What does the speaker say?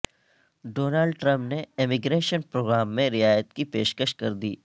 Donald Trump نے immigration programme میں رعایت کی پیشکش کر دی